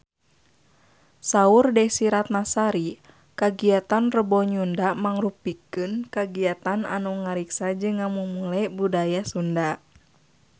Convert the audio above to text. Saur Desy Ratnasari kagiatan Rebo Nyunda mangrupikeun kagiatan anu ngariksa jeung ngamumule budaya Sunda